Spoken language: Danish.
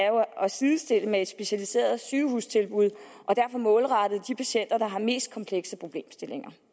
sidestille med et specialiseret sygehustilbud og derfor målrettet de patienter der har mest komplekse problemstillinger